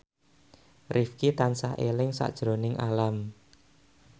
Rifqi tansah eling sakjroning Alam